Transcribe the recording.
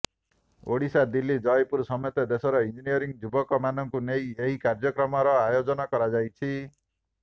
ଓଡ଼ିଶା ଦିଲ୍ଲୀ ଜୟପୁର ସମେତ ଦେଶର ଇଞ୍ଜିନିୟରିଂ ଯୁବକମାନଙ୍କୁ ନେଇ ଏହି କାର୍ଯ୍ୟକ୍ରମର ଆୟୋଜନ କରାଯାଇଛି